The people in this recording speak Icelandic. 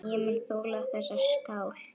Ég mun þola þessa skál.